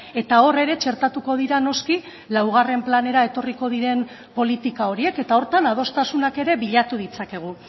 eta hor ere txertatuko dira noski laugarren planera etorriko diren politika horiek eta horretan adostasunak ere bilatu ditzakegu